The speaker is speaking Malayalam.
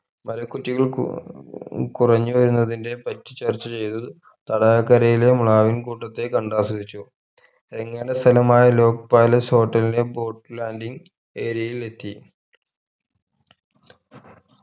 മര കുറ്റികൾ കു ഏർ കുറഞ്ഞവരുന്നതിനെ പറ്റി ചർച്ച ചെയ്‌ത്‌ തടാക കരയിലെ മ്ലാവിൻ കൂട്ടത്തെ കണ്ട് ആസ്വദിച്ചു സ്ഥലമായ ലോക്‌ palace hotel ലിലെ boat landing area യിൽ എത്തി